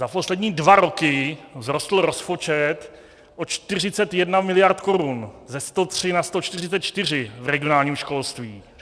Za poslední dva roky vzrostl rozpočet o 41 miliard korun, ze 103 na 144 v regionálním školství.